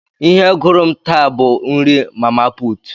Ihe gụrụ m taa bụ nri mama putu.